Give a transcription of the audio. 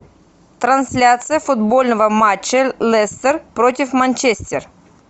трансляция футбольного матча лестер против манчестер